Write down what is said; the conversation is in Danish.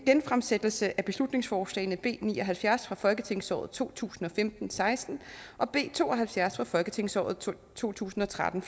genfremsættelse af beslutningsforslagene b ni og halvfjerds fra folketingsåret to tusind og femten til seksten og b to og halvfjerds fra folketingsåret to tusind og tretten